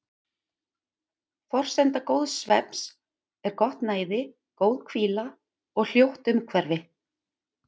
Forsenda góðs svefns er gott næði, góð hvíla og hljótt umhverfi.